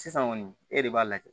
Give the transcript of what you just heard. Sisan kɔni e de b'a lajɛ